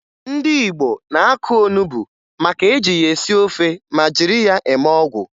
Ndị Igbo na-akụ onubo maka e ji ya esi ofe ma jiri ya eme ọgwụ